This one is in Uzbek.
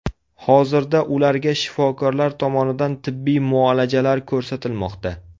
Hozirda ularga shifokorlar tomonidan tibbiy muolajalar ko‘rsatilmoqda.